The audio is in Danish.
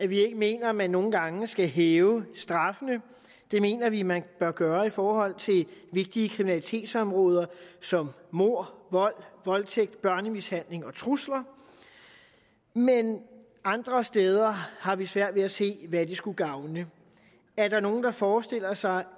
vi ikke mener at man nogle gange skal hæve straffene det mener vi man bør gøre i forhold til vigtige kriminalitetsområder som mord vold voldtægt børnemishandling og trusler men andre steder har vi svært ved at se hvad det skulle gavne er der nogen der forestiller sig